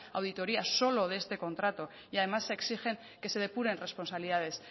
auditoría solo de este contrato y además exigen que se depuren responsabilidades